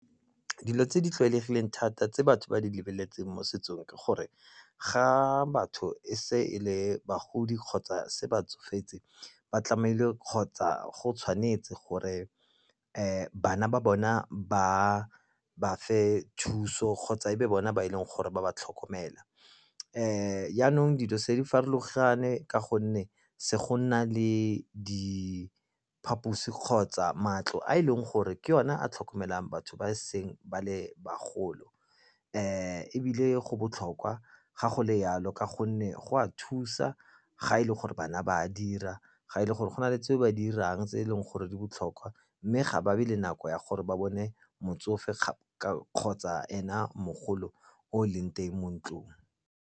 Dilo tse di tlwaelegileng thata tse batho ba di lebeletseng mo setsong ke gore ga batho e se e le bagodi kgotsa se ba tsofetse ba tlamehile kgotsa go tshwanetse gore bana ba bona ba ba fe thuso kgotsa e be bona ba e leng gore ba ba tlhokomela. Jaanong dilo se di farologane ka gonne se go nna le diphaposi kgotsa matlo a e leng gore ke o na a tlhokomelang batho ba seng ba le bagolo. Ebile go botlhokwa ga go le jalo ka gonne go a thusa ga e le gore bana ba a dira, ga e le gore go na le tseo ba dirang tse e leng gore di botlhokwa, mme ga ba be le nako ya gore ba bone motsofe kgotsa ena mogolo o leng teng mo ntlong.